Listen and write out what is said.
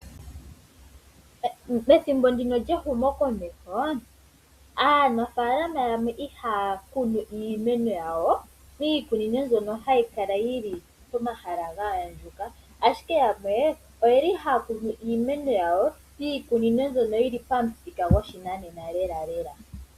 Methimbo ndino lyehumokomeho aanafalama yamwe ihaya kuno iimeno yawo miikunino mbyono hayi kala yili pomahala ga andjuka, ashike yamwe oyeli haya kunu iimeno yawo miikunino mbyono yili pamuthika goshinanena lela lela.